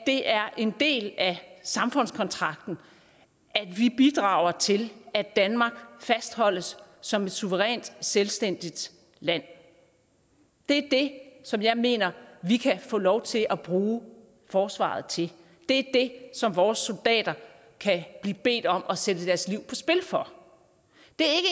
det er en del af samfundskontrakten at vi bidrager til at danmark fastholdes som et suverænt selvstændigt land det er det som jeg mener vi kan få lov til at bruge forsvaret til det er det som vores soldater kan blive bedt om at sætte deres liv på spil for det